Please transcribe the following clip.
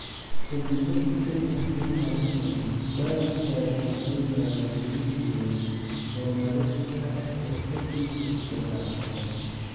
Ka dib markii ay fahmeen arrintan, waalidkiis waxay maalgelin jireen horumarinta xirfaddiisa kubadda cagta.